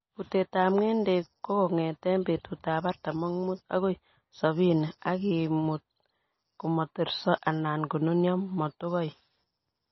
Butetab ng'endek kokong'eten betutab artam ak mut agoi sobini ak imut komoterso alan konunyo motokoik.